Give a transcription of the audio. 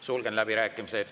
Sulgen läbirääkimised.